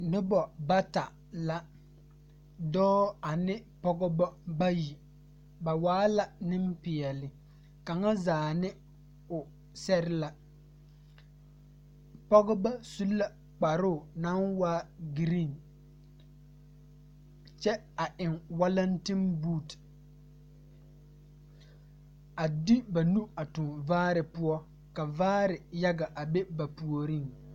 Noba bata la, dͻͻ ane pͻgebͻ bayi. Ba waa la nempeԑle, kaŋa zaa ne o sԑre la. Pͻgebͻ su la kparoo naŋ waa giriiŋ. Kyԑ a eŋ walentinbuute. A de ba nu a tuŋ vaare poͻ, ka vaare yaga a be ba puoriŋ.